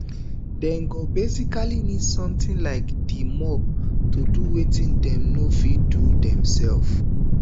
dem go basically need something like di mop to do wetin dem no fit do themselves